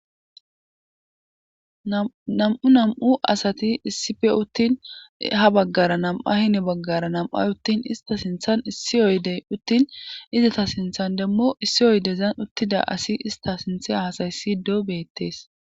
nam7u nam7u asati issipe uttin ha baggara nam7a hini baggara nam7ay uttin ista sinthan issi oydey uttin izata sinthan demo issi oydezan uttida asi ista sinthe haasayissido beettes.